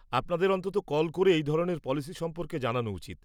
-আপনাদের অন্ততঃ কল করে এই ধরনের পলিসি সম্পর্কে জানানো উচিত।